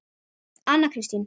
Anna Kristín